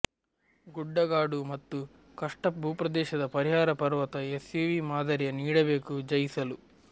ಗುಡ್ಡಗಾಡು ಮತ್ತು ಕಷ್ಟ ಭೂಪ್ರದೇಶದ ಪರಿಹಾರ ಪರ್ವತ ಎಸ್ಯುವಿ ಮಾದರಿಯ ನೀಡಬೇಕು ಜಯಿಸಲು